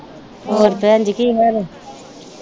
ਹੋਰ ਭੈਣਜੀ ਕੀ ਹਾਲ ਆ?